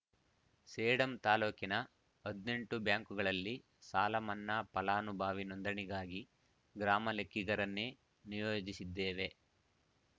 ಸೇಡಂ ತಾಲೂಕಿನ ಹದಿನೆಂಟು ಬ್ಯಾಂಕ್‌ಗಳಲ್ಲಿ ಸಾಲಮನ್ನಾ ಫಲಾನುಭವಿ ನೋಂದಣಿಗಾಗಿ ಗ್ರಾಮಲೆಕ್ಕಿಗರನ್ನೇ ನಿಯೋಜಿಸಿದ್ದೇವೆ